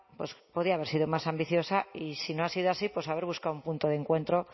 podría haber sido más ambiciosa y si no ha sido así haber buscado un punto de encuentro